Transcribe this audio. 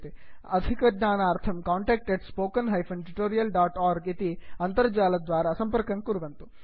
अधिकज्ञानार्थं contact spoken tutorialorg इति अणुसंकेतद्वारा सम्पर्कं कुर्वन्तु